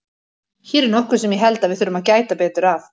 Hér er nokkuð sem ég held að við þurfum að gæta betur að.